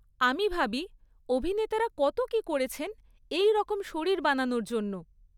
আমি ভাবি, অভিনেতারা কত কী করেছেন এই রকম শরীর বানানোর জন্য।